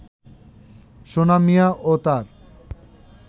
সোনা মিয়া ও তার